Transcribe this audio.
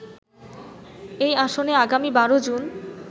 এই আসনে আগামী ১২ জুন